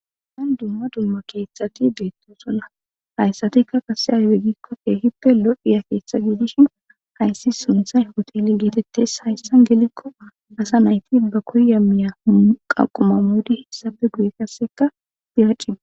Nan dumma dumma keeththati beetto sonna hayssatikka qase haywegikko keehippe lo'iya keeththa giidishin hayssi sunthay hotele geetettes hayssa gelikko asa nayti ba koya miya qaquma modi hessabe guye kasseka diraciba.